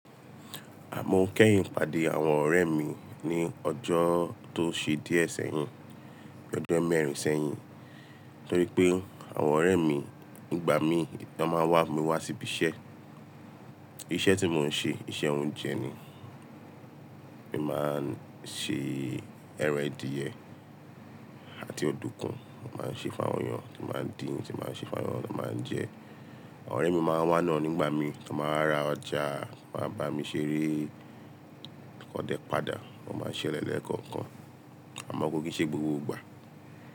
Mọ́ kẹ́yìn pàdé àwọn ọ̀rẹ́ mi ní ọjọ́ tó ṣe díẹ̀ sẹ́yìn, ọjọ́ mẹ́rin sẹ́yìn. Torí pé àwọn ọ̀rẹ́ mi nígbà mi tán ba wá, mi wá síbi iṣẹ́. Iṣẹ́ tí mò ń ṣe iṣẹ́ oúnjẹ ni. Mo máa ń ṣe ẹran adìẹ àti ọ̀dùkún, mo máa ń ṣe fáwọn èèyàn tí máa ń dín tí máa ń ṣe fáwọn èèyàn tí máa ń jẹ. Àwọn ọ̀rẹ́ mi máa ń wá náà nígbà mi, tán máa wa ra ọjà, wọ́n a bá mi ṣeré kan dẹ padà, wọn máa ń ṣẹlẹ lẹkọ̀ọ̀kan. Àmọ́ kò kí n ṣe gbogbo ìgbà.